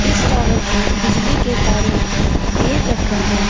इस टॉवर को बिजली के तारों ने घेर रखा है।